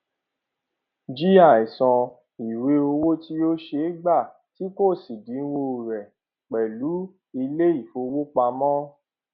g àìsan ìwé owó tí ó ṣeé gbà tí kò sí ẹdínwó rẹ pẹlú ilé ìfowópamọ